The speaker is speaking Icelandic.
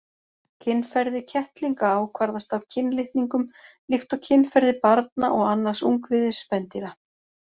Kynferði kettlinga ákvarðast af kynlitningum líkt og kynferði barna og annars ungviðis spendýra.